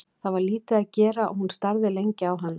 Það var lítið að gera og hún starði lengi á hana.